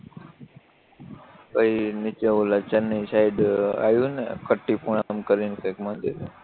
પછી નીચે ઓલા ચેન્નઈ સાઈડ આયવુંને ખટ્ટીપુરમ કરીન કયક મંદિર હે